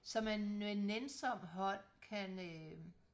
som man med nænsom hånd kan øh